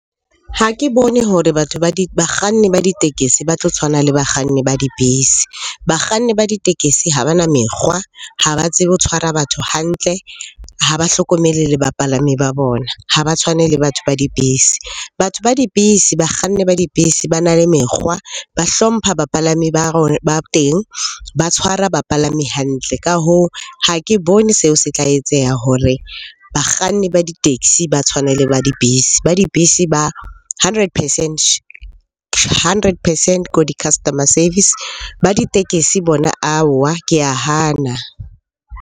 Ha ke bone hore batho bakganni ba ditekesi ba tlo tshwana le bakganni ba dibese. Bakganni ba ditekesi ha bana mekgwa, ha ba tsebe ho tshwara batho hantle, ha ba hlokomele le bapalami ba bona, ha ba tshwane le batho ba dibese Batho ba dibese, bakganni ba dibese ba na le mekgwa, ba hlompha bapalami ba teng, ba tshwara bapalami hantle. Ka hoo, ha ke bone seo se tla etseha hore bakganni ba di-taxi ba tshwane le ba dibese. Ba dibese ba hundred percent, hundred percent ko di-customer service. Ba ditekesi bona aowa ke a hana.